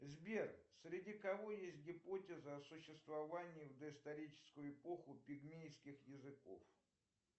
сбер среди кого есть гипотеза о существовании в доисторическую эпоху пигмейских языков